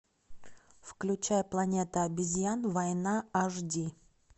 включай планета обезьян война аш ди